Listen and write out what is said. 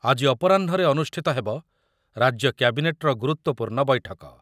ଆଜି ଅପରାହ୍ଣରେ ଅନୁଷ୍ଠିତ ହେବ ରାଜ୍ୟ କ୍ୟାବିନେଟ୍‌ର ଗୁରୁତ୍ୱପୂର୍ଣ୍ଣ ବୈଠକ।